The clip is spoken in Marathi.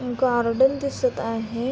गार्डन दिसत आहे.